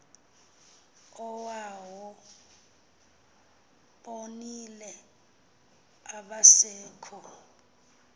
oobawo bonile abasekho